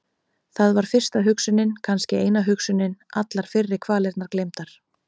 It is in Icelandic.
Það var fyrsta hugsunin, kannski eina hugsunin- allar fyrri kvalirnar gleymdar.